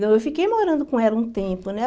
Não, eu fiquei morando com ela um tempo, né?